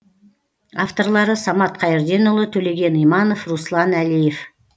авторлары самат қайырденұлы төлеген иманов руслан әлиев